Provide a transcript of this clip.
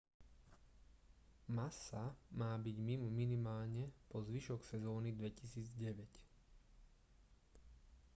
massa má byť mimo minimálne po zvyšok sezóny 2009